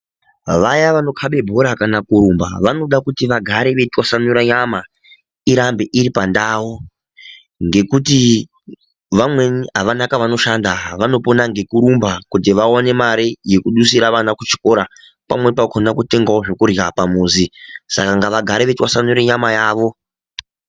Vaya vanokabe bhora kana kurumba vanoda kuti vagare veitwasanura nyama irambe iri pandau. Ngekuti vamweni havana kwavanoshanda vanopona ngekurumba kuti vaone mare yekudusire vana kuchikora pamweni pakona kutengavo zvekurya pamuzvi, sakangavagare vachitwasanure nyama yavo.